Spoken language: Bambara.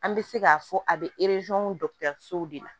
An bɛ se k'a fɔ a bɛ de la